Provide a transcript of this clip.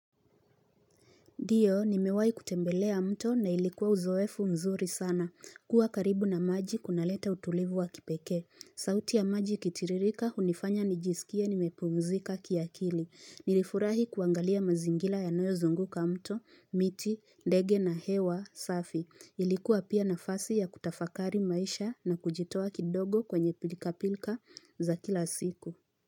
Ndio, nimewahi kutembelea mto na ilikuwa uzoefu mzuri sana. Kuwa karibu na maji kunaleta utulivu wa kipekee. Sauti ya maji ikitiririka, hunifanya nijisikie nimepumzika kiakili. Nilifurahi kuangalia mazingira yanayozunguka mto, miti, ndege na hewa safi. Ilikuwa pia nafasi ya kutafakari maisha na kujitowa kidogo kwenye pilkapilka za kila siku.